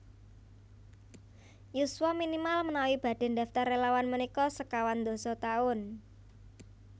Yuswa minimal menawi badhe ndaftar relawan menika sekawan dasa taun